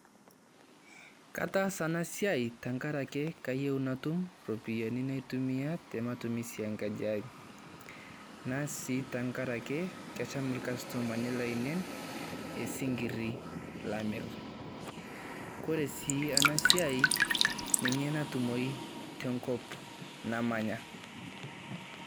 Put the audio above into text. Katasa eena siai tenkaraki kayeu natum iropiani naitumia te matumisi enkaji ai, naas sii tenkarake, esham ilcustomani laine esinkiri lamir. Ore sii ena siai, ninye natumoi tenkop namanya.